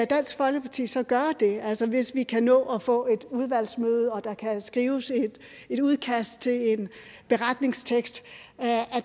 dansk folkeparti så gøre det altså hvis vi kan nå at få et udvalgsmøde og der kan skrives et udkast til en beretningstekst er